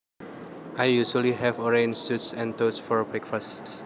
I usually have orange juice and toast for breakfast